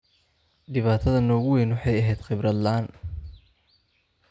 Dhibaatada noogu weyn waxay ahayd khibrad la'aan.